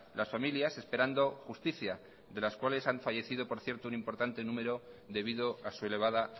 las familias esperando justicia de las cuales han fallecido por cierto un importante número debido a su elevada